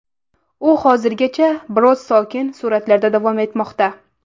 U hozirgacha biroz sokin sur’atlarda davom etmoqda.